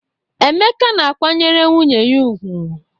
Emeka na-akwanyere nwunye ya ugwu.